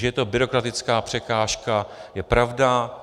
Že je to byrokratická překážka, je pravda.